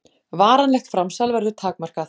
Varanlegt framsal verður takmarkað